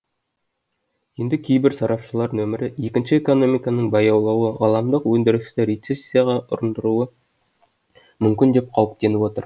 енді кейбір сарапшылар нөмірі екінші экономиканың баяулауы ғаламдық өндірісті рецессияға ұрындыруы мүмкін деп қауіптеніп отыр